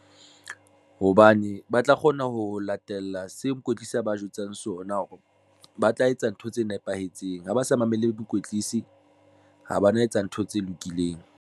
Hobane ba tla kgona ho latela seo mokwetlise a ba jwetsang sona hore ba tla etsa ntho tse nepahetseng ha ba sa mamele mokwetlisi ha bana. Etsa ntho tse lokileng.